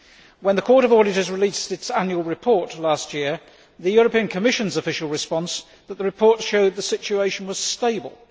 When the Court of Auditors released its annual report last year, the European Commission's official response was that the report showed that the situation was stable.